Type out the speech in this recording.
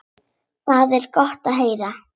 Það er gott að heyra.